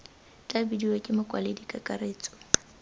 tla bidiwa ke mokwaledi kakaretso